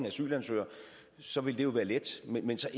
asylansøgere så ville det jo være let men så